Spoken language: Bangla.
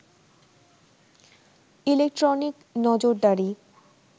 ইলেকট্রনিক নজরদারি